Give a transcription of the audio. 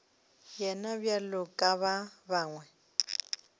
yena bjalo ka ba bangwe